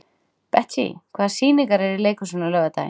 Betsý, hvaða sýningar eru í leikhúsinu á laugardaginn?